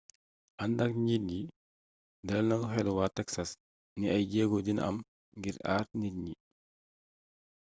andak njiit yi dalal na xélu wa texas ni ay jéego dina am ngir aar nit yi